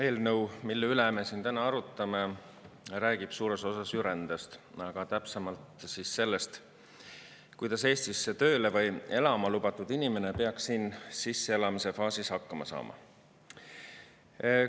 Eelnõu, mille üle me siin täna arutame, räägib suures osas ju rändest, aga täpsemalt sellest, kuidas Eestisse tööle või elama lubatud inimene peaks siin sisseelamise faasis hakkama saama.